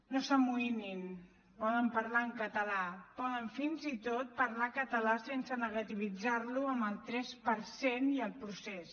no s’amoïnin poden parlar en català poden fins i tot parlar català sense negativitzar lo amb el tres per cent i el procés